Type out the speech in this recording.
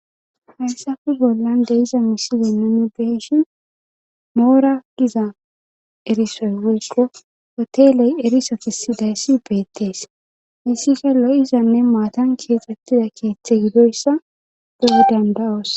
haysafe bollan de'izaa misilennane beeshin moora giza erisoy woyko hoteley eriso tesidayssi ubeettees issika lo7izanne maatan keexxettida keeththe gidoyssa go7e danda7oos